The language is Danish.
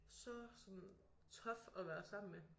Så sådan tough at være sammen med